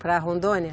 Para Rondônia?